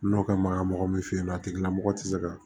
N'o kɛ magan mɔgɔ min fɛ yen nɔ a tigilamɔgɔ tɛ se ka